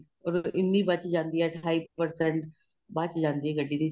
ਔਰ ਇੰਨੀ ਬੱਚ ਜਾਂਦੀ ਏ ਅੱਠਾਈ percentage ਬੱਚ ਜਾਂਦੀ ਏ ਗੱਡੀ ਦੀ charging